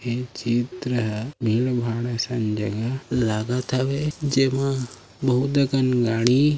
ए चित्र ह भीड़ भाड़ जगह असन लागत हावे जेमा बहुत अकन गाड़ी--